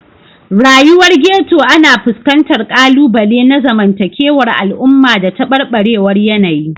Rayuwar Ghetto ana fuskantar ƙalubale na zamantakewar al'umma da tabarbarewar yanayi.